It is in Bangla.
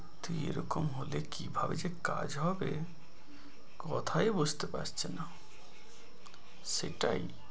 সত্যি এরকম হলে কিভাবে যে কাজ হবে কথায় বুঝতে পারছে না সেটাই।